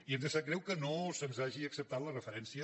i ens sap greu que no se’ns hagi acceptat la referència